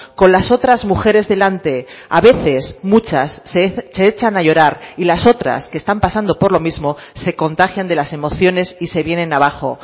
con las otras mujeres delante a veces muchas se echan a llorar y las otras que están pasando por lo mismo se contagian de las emociones y se vienen abajo